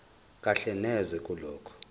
kahle neze kulokho